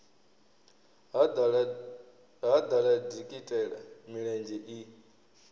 ha ḓala dikitela milenzhe i